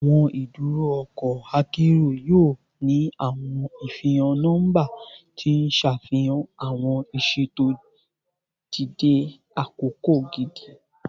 Awọn iduro ọkọ akero yoo ni awọn ifihan oni-nọmba ti n ṣafihan awọn iṣeto dide akoko gidi